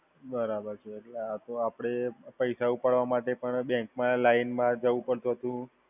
બરાબર છે એટલે આ તો અપડે, પૈસા ઉપાડવા માટે પણ બેંકમાં લાઈનમાં જવું પડતું તું